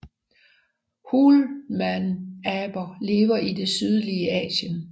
Hulmanaber lever i det sydlige Asien